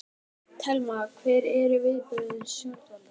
Telma: Hver eru viðbrögð stjórnvalda?